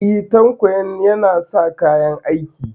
E, Tanko yana sa kayan aiki.